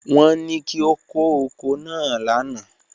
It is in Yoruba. Won ni ki o ko oko naa lana.